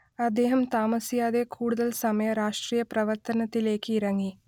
അദ്ദേഹം താമസിയാതെ കൂടുതൽ സമയ രാഷ്ട്രീയ പ്രവർത്തനത്തിലെക്ക് ഇറങ്ങി